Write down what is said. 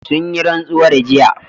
Sun yi rantsuwar jiya